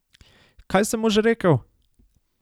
Kaj sem mu že rekel?